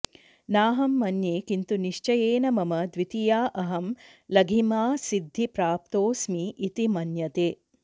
नाहं मन्ये किन्तु निश्चयेन मम द्वितीया अहं लघिमासिद्धिप्राप्तोऽस्मि इति मन्यते